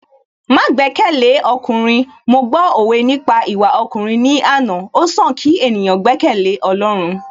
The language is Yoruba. Má gbẹ́kẹ̀lé ọkùnrin, mo gbọ́ òwe nípa ìwà ọkùnrin ní àná, ó sàn kí ènìyàn gbẹ́kẹ̀lé Ọlọ́run